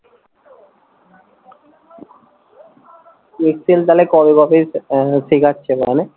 excel তালে কবে কবে আহ শেখাচ্ছে তালে?